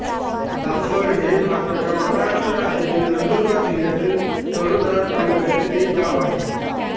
दासवड हे भारताच्या महाराष्ट्र राज्यातील नंदुरबार जिल्ह्यातील तळोदा तालुक्यातील एक गाव आहे